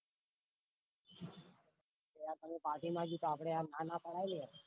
આપડે આમ ના ના પડે